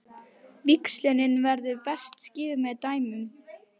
Víxlunin verður best skýrð með dæmum.